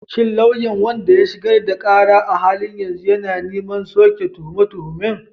Shin lauyan wanda ya shigar da ƙara a halin yanzu yana neman soke tuhume-tuhumen?